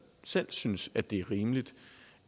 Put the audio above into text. selv synes det er rimeligt